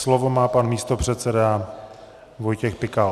Slovo má pan místopředseda Vojtěch Pikal.